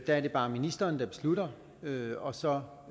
er det bare ministeren der beslutter det og så